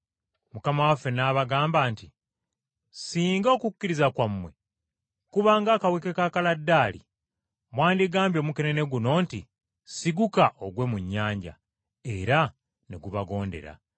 Mukama waffe n’abagamba nti, “Singa okukkiriza kwammwe kuba ng’akaweke ka kaladaali, mwandigambye omukenene guno nti, ‘Siguka ogwe mu nnyanja,’ era ne gubagondera.